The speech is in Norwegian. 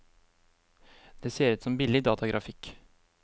Det ser ut som billig datagrafikk.